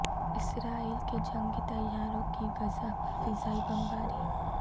اسرائیل کے جنگی طیاروں کی غزہ پر فضائی بمباری